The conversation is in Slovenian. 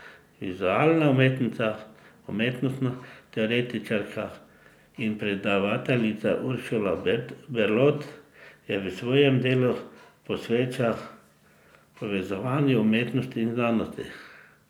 Vizualna umetnica, umetnostna teoretičarka in predavateljica Uršula Berlot se v svojem delu posveča povezovanju umetnosti in znanosti.